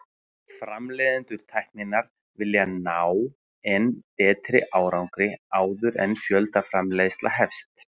Framleiðendur tækninnar vilja ná enn betri árangri áður en fjöldaframleiðsla hefst.